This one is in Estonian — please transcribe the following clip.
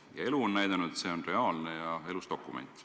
Ja elu on näidanud, et see on reaalne ja elus dokument.